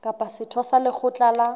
kapa setho sa lekgotla la